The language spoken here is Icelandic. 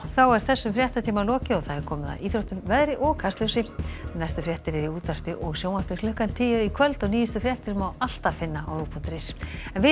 er þessum fréttatíma lokið og komið að íþróttum veðri og Kastljósi næstu fréttir eru í útvarpi og sjónvarpi klukkan tíu í kvöld og nýjustu fréttir má alltaf finna á rúv punktur is en við